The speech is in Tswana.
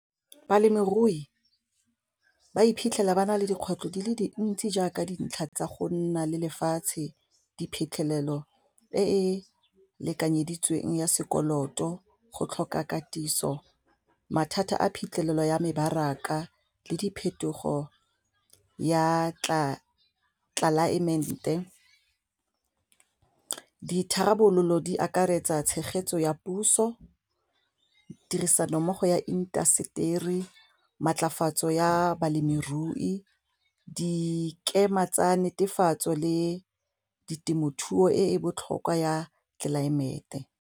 Balemirui ba iphitlhela ba na le dikgwetlho di le dintsi jaaka dintlha tsa go nna le lefatshe diphitlhelelo e e lekanyeditsweng ya sekoloto, go tlhoka katiso mathata a phitlhelelo ya mebaraka le diphetogo ya tlelaemete, ditharabololo di akaretsa tshegetso ya puso tirisanommogo ya intaseteri, maatlafatso ya balemirui dikema tsa netefatso le ditemothuo e botlhokwa ya tlelaemete.